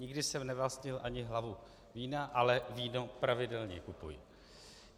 Nikdy jsem nevlastnil ani hlavu vína, ale víno pravidelně kupuji.